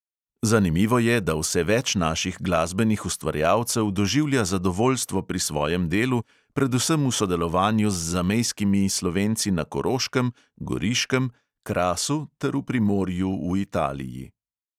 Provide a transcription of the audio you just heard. Zanimivo je, da vse več naših glasbenih ustvarjalcev doživlja zadovoljstvo pri svojem delu, predvsem v sodelovanju z zamejskimi slovenci na koroškem, goriškem, krasu ter v primorju v italiji.